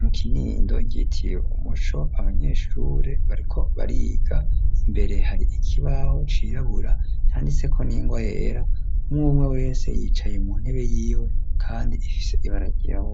mu kinindo ryitiye umuco abanyeshure bariko bariga imbere hari ikibaho cirabura canditseko n'ingwa yera umwumwe wese yicaye mu ntebe yiwe kandi ifise ibara ryirabura.